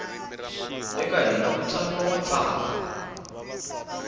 eka hina ku tsariwa matsalwa